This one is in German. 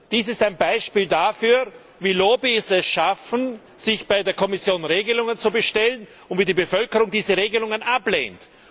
Dies ist ein Beispiel dafür, wie Lobbys es schaffen, sich bei der Kommission Regelungen zu bestellen, und wie die Bevölkerung diese Regelungen ablehnt.